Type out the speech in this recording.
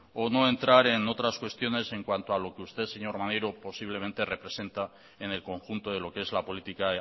o no entrar en otras cuestiones en cuanto a lo que usted señor maneiro posiblemente representa en el conjunto de lo que es la política